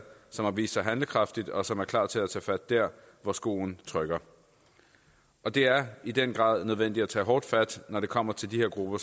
som har vist sig handlekraftigt og som er klar til at tage fat der hvor skoen trykker det er i den grad nødvendigt at tage hårdt fat når det kommer til de grupper